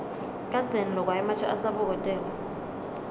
kadzeni lokwa ematje asabokotela